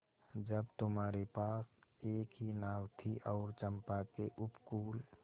जब तुम्हारे पास एक ही नाव थी और चंपा के उपकूल